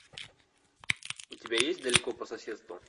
у тебя есть далеко по соседству